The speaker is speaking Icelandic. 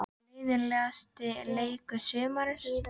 Leiðinlegasti leikur sumarsins?